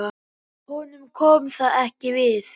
Honum kom það ekki við.